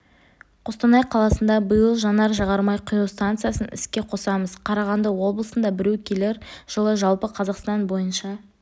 қостанай қаласында биыл жанар-жағармай құю станциясын іске қосамыз қарағанды облысында біреу келер жылы жалпы қазақстан бойынша